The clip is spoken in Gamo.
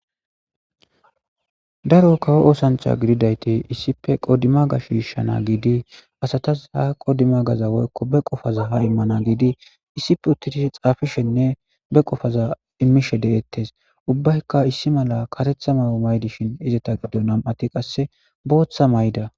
Daro kawo oosancha gididayti issipe qodima ga shiishshana giidi asatas ha qodima gaza woykko be qofaza ha immana giidi issife uttidi xaafishenne be qofaza immishe de'ettes ubbaykka issi mala katetha ma o maydishin izeta giddo nam'ati qasse booththa may'da.